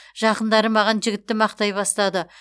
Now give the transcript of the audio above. жақындары маған жігітті мақтай бастады